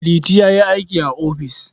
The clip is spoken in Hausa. Liti ya yi aiki a ofis.